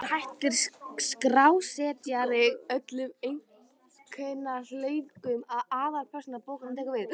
Hér hættir skrásetjari öllum einkahugleiðingum og aðalpersóna bókarinnar tekur við.